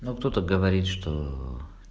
ну кто-то говорит что